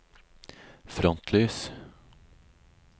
frontlys